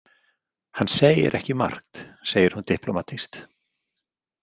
Hann segir ekki margt, segir hún diplómatískt.